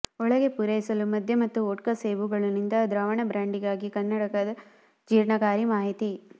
ಒಳಗೆ ಪೂರೈಸಲು ಮದ್ಯ ಮತ್ತು ವೊಡ್ಕಾ ಸೇಬುಗಳನ್ನು ಇಂತಹ ದ್ರಾವಣ ಬ್ರಾಂಡಿಗಾಗಿ ಕನ್ನಡಕ ಜೀರ್ಣಕಾರಿ ಮಾಹಿತಿ